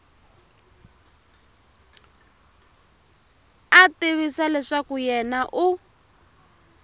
a tivisa leswaku yena u